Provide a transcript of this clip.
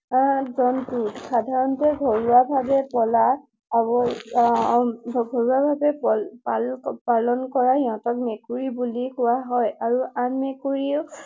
জন্তু। সাধাৰণতে ঘৰুৱা ভাৱে পলা, ঘৰুৱা ভাৱে পালন কৰা সিহতক মেকুৰী বুলি কোৱা হয় আৰু আন মেকুৰীও